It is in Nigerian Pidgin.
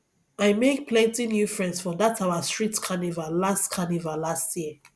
i make plenty new friends for dat our street carnival last carnival last year